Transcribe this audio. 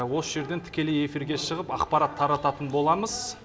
осы жерден тікелей эфирге шығып ақпарат тарататын боламыз